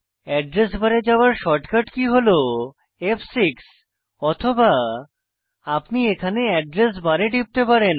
address বারে যাওয়ার shortcut কী হল ফ6 অথবা আপনি এখানে এড্রেস বারে টিপতে পারেন